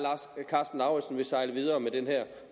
karsten lauritzen vil sejle videre med den her